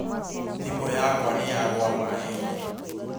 Thimũ yakwa nĩ yagwa maĩ-inĩ